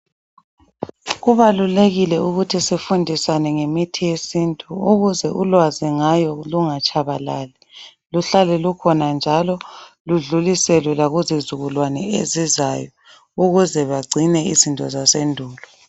Kubalulekile ukuthi sifundisane ngemithi yesintu ukuze ulwazi ngayo lungatshabalali luhlale lukhona njalo ludluliselwe lakuzizukulwane ezizayo ukuze bagcine izinto zasendulo.